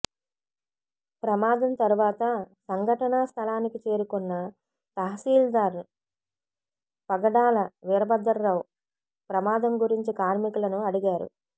ప్రమాదం తర్వాత సంఘటనా స్ధలానికి చేరుకున్న తహసీల్దార్ పగడాల వీరభద్రరావు ప్రమాదం గురించి కార్మికులను అడిగారు